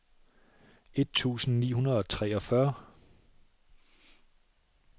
et tusind ni hundrede og treogfyrre